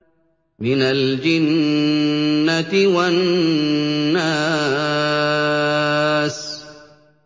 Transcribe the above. مِنَ الْجِنَّةِ وَالنَّاسِ